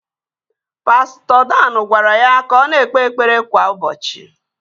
Pastọ Dan gwara ya ka ọ na-ekpe ekpere kwa ụbọchị